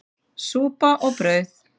Súpa og brauð.